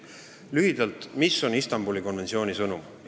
Lühidalt, mis on Istanbuli konventsiooni sõnum?